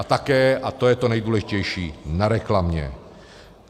A také, a to je to nejdůležitější, na reklamě.